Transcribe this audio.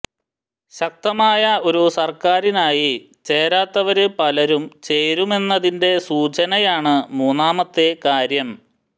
ശക്തമായ ഒരു സര്ക്കാറിനായി ചേരാത്തവര് പലരും ചേരുമെന്നതിന്റെ സൂചനയാണ് മൂന്നാമത്തെ കാര്യം